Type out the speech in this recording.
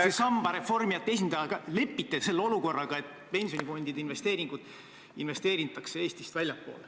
... te samba reformijate esindajana lepite selle olukorraga, et pensionifondide investeeringud tehakse Eestist väljapoole.